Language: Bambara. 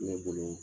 Ne bolo